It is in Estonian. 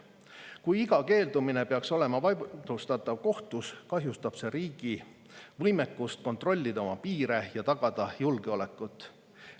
Kui iga keeldumine peaks olema vaidlustatav kohtus, kahjustab see riigi võimekust kontrollida oma piire ja tagada julgeolekut.